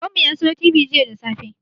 Baban mu ya siyo tibi jiya da safe